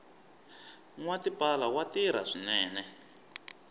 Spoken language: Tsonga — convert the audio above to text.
nwa tipala wa tirha swinene